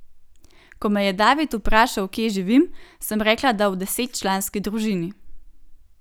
Ko me je David vprašal, kje živim, sem rekla, da v desetčlanski družini.